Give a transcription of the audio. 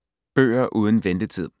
Bøger uden ventetid